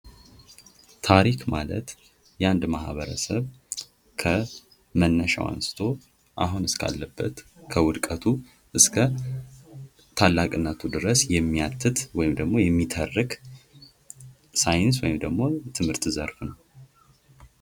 ታሪክ ማለት የአንድ ማህበረሰብ ከመነሻው አንስቶ አሁን እስከ አለበት፤ ከውድቀቱ እስከ ታላቅነቱ ድረስ የሚያትት ወይም ደግሞ የሚተርክ ሳይንስ ወይም ደግሞ የትምህርት ዘርፍ ነው።